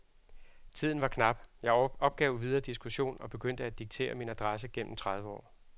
Tiden var knap, jeg opgav videre diskussion og begyndte at diktere min adresse gennem tredive år.